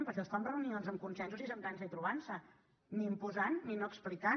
però això es fa en reunions amb consensos i asseient nos i trobant nos ni imposant ni no explicant